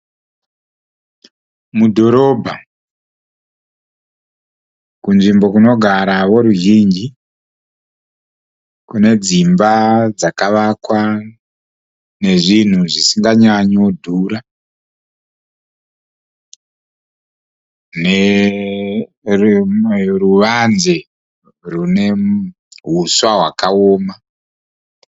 Mudhorobha kunzvimbo kunogara veruzhinji. Kune dzimba dzakavakwa nezvinhu zvisinganyanyodhura. Chivanze chine huswa hwakaoma.